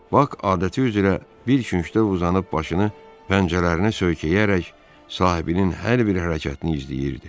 Bak adəti üzrə bir küncdə uzanıb başını pəncərələrinə söykəyərək sahibinin hər bir hərəkətini izləyirdi.